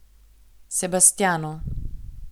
Sebastjanu.